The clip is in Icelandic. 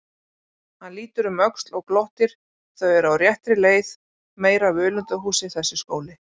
Hann lítur um öxl og glottir, þau eru á réttri leið, meira völundarhúsið þessi skóli!